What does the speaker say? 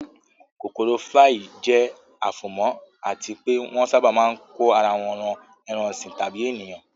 kokoro flii jẹ́ afomo àti pé wọ́n sábà máa ń kó ara won ran ẹran ọ̀sìn tàbí ènìyàn.